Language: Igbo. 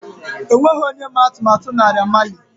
O nweghị onye ma atụmatụ Naira Marleys.